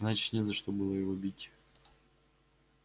значит не за что было его бить